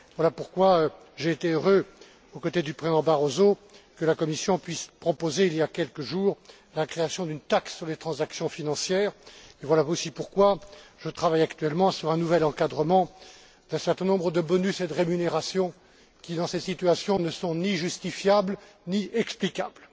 Voilà pourquoi j'ai été heureux, aux côtés du Président Barroso, que la Commission puisse proposer, il y a quelques jours, la création d'une taxe sur les transactions financières, et voilà aussi pourquoi je travaille actuellement sur un nouvel encadrement d'un certain nombre de bonus et de rémunérations qui, dans ces situations, ne sont ni justifiables, ni explicables.